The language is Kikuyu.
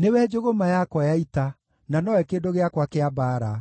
“Nĩwe njũgũma yakwa ya ita, na nowe kĩndũ gĩakwa kĩa mbaara: